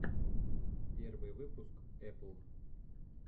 первый выпуск эпл